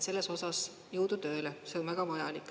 Selles osas jõudu tööle, see on väga vajalik.